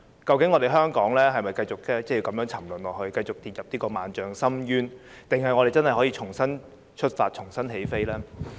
究竟香港是否要如此沉淪，跌進萬丈深淵，還是真的可以重新出發，重新起飛呢？